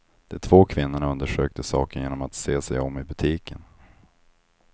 De två kvinnorna undersökte saken genom att se sig om i butiken.